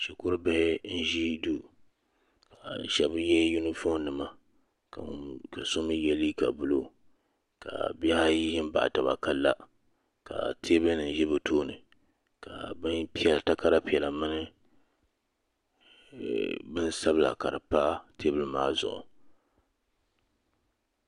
Shikuru bihi n-ʒi duu shɛba ye yunifom nima ka so mi ye liiga buluu ka bih' ayi ʒi m-baɣi taba ka la ka teebuya nima ʒe bɛ tooni ka takara piɛla mini bini sabila ka di pa teebuli maa zuɣu.